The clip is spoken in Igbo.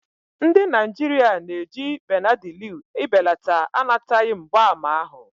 Ndị Naijiria na-eji Benadilu ibelata anataghi mgbaàmà ahụ.